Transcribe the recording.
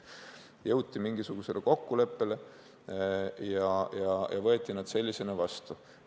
Jõuti mingisugusele kokkuleppele ja võeti nad sellisena vastu.